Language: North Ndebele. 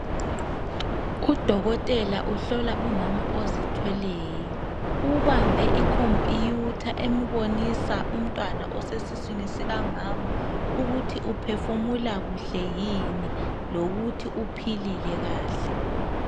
Udokotela uhlola umama ozithweleyo. Ubambe ikompiyuta embonisa umntwana osesiswini sikamama ukuthi uphefumula kuhle yini lokuthi uphilile kahle.